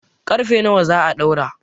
ƙarfe nawa za a ɗaura?